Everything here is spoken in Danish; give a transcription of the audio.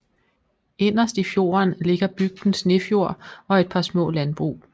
Inderst i fjorden ligger bygden Snefjord og et par små landbrug